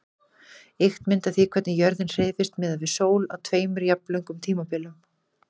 Ýkt mynd af því hvernig jörðin hreyfist miðað við sól á tveimur jafnlöngum tímabilum.